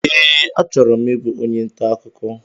Ee, achọrọ m ịbụ onye ntà ọkụkọ